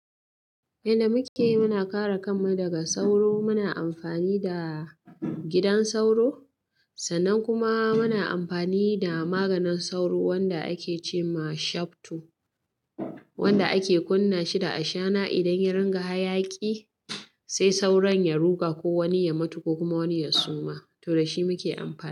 Idan muke muna kare kanmu daga sauro, muna amfani da gidan sauro sannan kuma muna amfani da maganin sauro wanda ake ce ma Shafto, wanda ake kunna shi da ashana. Idan ya ringa hayaki sai sauron ya ruga ko wani ya mutu ko kuma wani ya suma, to da shi muke amfani.